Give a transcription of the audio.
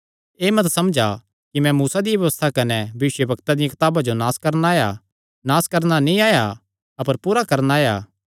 एह़ मत समझा कि मैं मूसा दिया व्यबस्था कने भविष्यवक्ता दिया कताबा जो नास करणा आया नास करणा नीं आया अपर पूरा करणा आया